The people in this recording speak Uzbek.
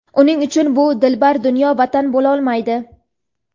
uning uchun bu dilbar dunyo vatan bo‘lolmaydi..